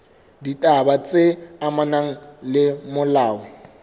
ditaba tse amanang le molao